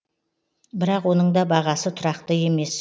бірақ оның да бағасы тұрақты емес